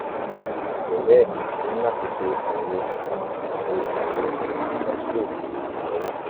àìjẹ́ bẹ́ẹ̀ o ní láti ṣe àyẹ̀wò àwòrán ṣe àyẹ̀wò àwòrán x-ray ti ọwọ́